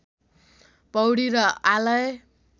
पौडी र आलय